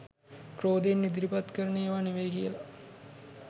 ක්‍රෝධයෙන් ඉදිරිපත් කරන ඒවා නොවෙයි කියලා.